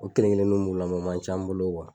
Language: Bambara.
O kelen kelenniw bɛ n bolo mɛ a man ca an bolo